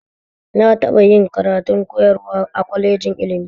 Na taɓa yin karatun koyarwa a kwalejin ilmin